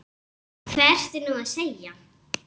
Hvað ertu nú að segja?